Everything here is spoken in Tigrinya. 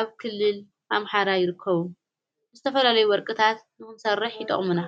ኣብ ክልል ኣምሓራ ይርከቡ ዝተፈለለይ ወርቅታት ንኹንሰርሕ ይጠቕሙና።